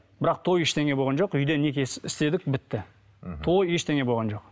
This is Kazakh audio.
бірақ той ештеңе болған жоқ үйде неке істедік бітті мхм той ештеңе болған жоқ